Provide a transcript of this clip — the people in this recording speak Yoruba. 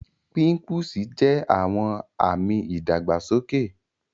Pimpúsì jẹ̀ awọn ami ìdàgbàsọkè.